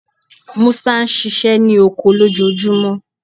Musa ṣiṣẹ ni oko lojoojumọ